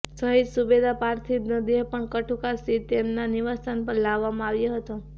શહીદ સુબેદારનો પાર્થિવ દેહ પણ કઠુકા સ્થિત તેમના નિવાસ્થાન પર લાવવામાં આવ્યો હતો